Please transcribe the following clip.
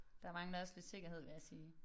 Der mangler også lidt sikkerhed vil jeg sige